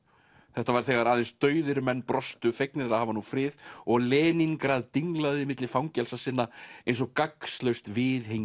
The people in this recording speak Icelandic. þetta var þegar aðeins dauðir menn brostu fegnir að hafa nú frið og Leníngrad dinglaði milli fangelsa sinna eins og gagnslaust viðhengi